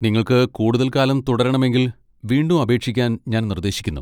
നിങ്ങൾക്ക് കൂടുതൽ കാലം തുടരണമെങ്കിൽ, വീണ്ടും അപേക്ഷിക്കാൻ ഞാൻ നിർദ്ദേശിക്കുന്നു.